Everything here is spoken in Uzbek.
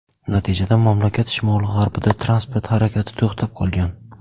Natijada mamlakat shimoli-g‘arbida transport harakati to‘xtab qolgan.